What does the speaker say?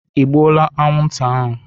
Ị gbuola anwụnta ahụ?